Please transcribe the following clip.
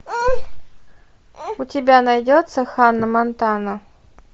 у тебя найдется ханна монтана